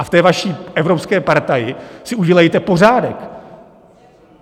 A v té vaší evropské partaji si udělejte pořádek.